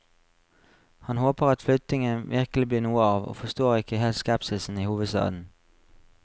Han håper at flyttingen virkelig blir noe av, og forstår ikke helt skepsisen i hovedstaden.